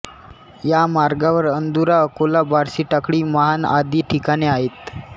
या मार्गावर अंदुरा अकोला बार्शीटाकळी महान आदी ठिकाणे आहेत